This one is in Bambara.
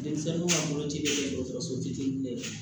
Denmisɛnninw ka boloci bɛ kɛ dɔgɔtɔrɔso fitini de ye